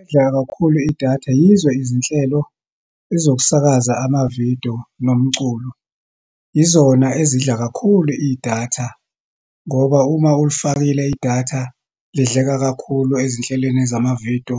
Edla kakhulu idatha, yizo izinhlelo ezokusakaza amavidiyo nomculo. Yizona ezidla kakhulu idatha ngoba uma ulifakile idatha, lidleka kakhulu ezinhlelweni zamavidiyo,